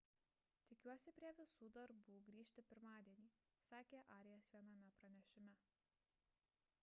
tikiuosi prie visų darbų grįžti pirmadienį – sakė arias viename pranešime